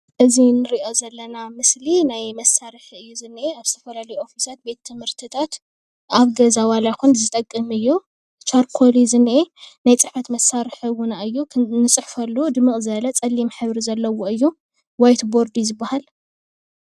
እዚ ንርኦ ዘለና ምስሊ ናይ መሳርሒ እዩ ዝነሄ ኣብ ዝተፈላለዩ ኦፍሳት ቤት ትምህርትታት ኣብ ገዛ ዋላ ይኩን ዝጥቅም እዩ ቻርኮል እዩ ዝኔህ ናይ ፅሕፍት መሳርሒ እውን እዩ እቲ ንፅሕፈሉ ድምቅ ዝበለ ፀሊም ሕብሪ ዘለዎ እዩ። ዋይት ቦርድ ዝበሃል ።